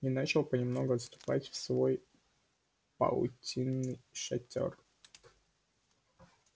и начал понемногу отступать в свой паутинный шатёр